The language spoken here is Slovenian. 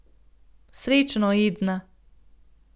Srečno, Edna.